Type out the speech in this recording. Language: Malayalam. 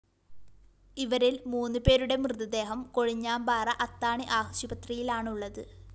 ഇവരില്‍ മൂന്നു പേരുടെ മൃതദേഹം കൊഴിഞ്ഞാമ്പാറ അത്താണി ആശുപത്രിയിലാണുള്ളത്